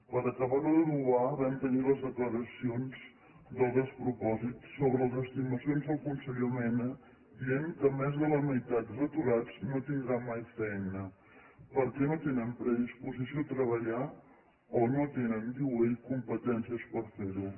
per acabar ho d’adobar vam tenir les declaracions del despropòsit sobre les estimacions del conseller mena que deia que més de la meitat dels aturats no tindran mai feina perquè no tenen predisposició a treballar o no tenen ho diu ell competències per fer ho